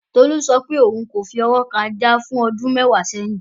Tolú sọ pé òun kò fi ọwọ́ kan Ajá fún ọdún mẹ́wàá sẹ́yìn